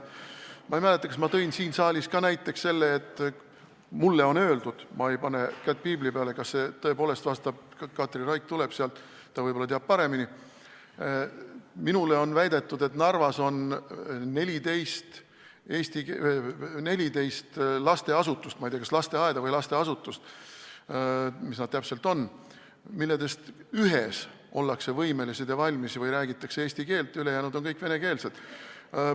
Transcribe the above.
Ma ei mäleta, kas ma tõin siin saalis juba selle näite, et mulle on öeldud – ma ei pane kätt piibli peale, ma ei tea, kas see tõele vastab, Katri Raik tuleb sealt, ta võib-olla teab paremini –, et Narvas on 14 lasteasutust – ma ei tea, kas lasteaeda või ka muud lasteasutust –, millest ühes ollakse võimelised ja valmis rääkima eesti keelt, ülejäänud on kõik venekeelsed.